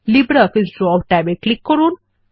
LibreOffice Draw ট্যাবে click করুন